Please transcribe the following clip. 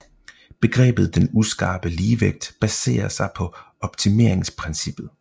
Begrebet den uskarpe ligevægt baserer sig på optimeringsprincippet